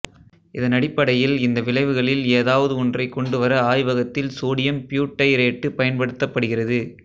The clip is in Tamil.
இதனடிப்படையில் இந்த விளைவுகளில் ஏதாவது ஒன்றைக் கொண்டு வர ஆய்வகத்தில் சோடியம் பியூட்டைரேட்டு பயன்படுத்தப்படுகிறது